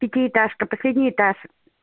пятиэтажка последний этаж